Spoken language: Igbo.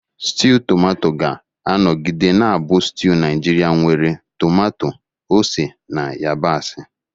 Stew Tomato ga-anọgide na-abụ stew Naijiria nwere tomato, ose, na yabasị.